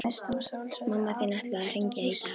Mamma þín ætlaði að hringja í dag